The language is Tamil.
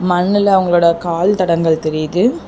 மண்ணுல அவங்களோட கால் தடங்கல் தெரியிது.